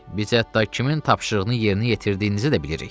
Biz hətta kimin tapşırığını yerinə yetirdiyinizi də bilirik.